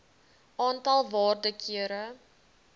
aantal waarde kere